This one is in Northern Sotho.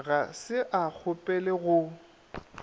ga se a kgopele go